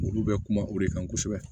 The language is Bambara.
Olu bɛ kuma o de kan kosɛbɛ